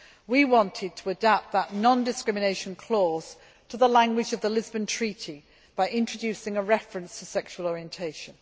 We wanted to adapt that non discrimination clause to the language of the Lisbon Treaty by introducing a reference to sexual orientation.